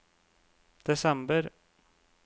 desember